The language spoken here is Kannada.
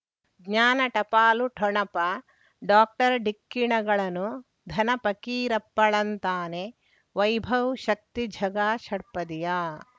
ಜ್ಞಾನ ಟಪಾಲು ಠೊಣಪ ಡಾಕ್ಟರ್ ಢಿಕ್ಕಿ ಣಗಳನು ಧನ ಫಕೀರಪ್ಪ ಳಂತಾನೆ ವೈಭವ್ ಶಕ್ತಿ ಝಗಾ ಷಟ್ಪದಿಯ